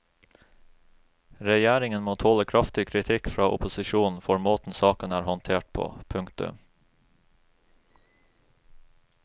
Regjeringen må tåle kraftig kritikk fra opposisjonen for måten saken er håndtert på. punktum